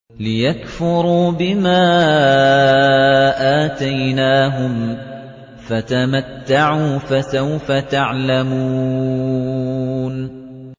لِيَكْفُرُوا بِمَا آتَيْنَاهُمْ ۚ فَتَمَتَّعُوا ۖ فَسَوْفَ تَعْلَمُونَ